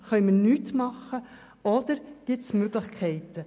Können wir nichts tun, oder gibt es Möglichkeiten?